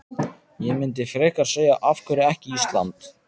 Ég myndi frekar segja af hverju ekki Ísland?